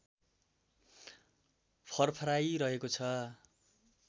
फरफराइ रहेको छ